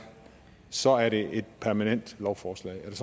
så er det et permanent lovforslag er